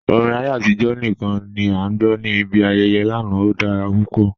Orin ayé atijọ̀ níkan ni a gbọ́ ni ibi ayẹyẹ́ lánà, ó dára pupọ̀.